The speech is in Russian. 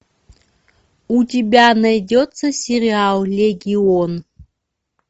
у тебя найдется сериал легион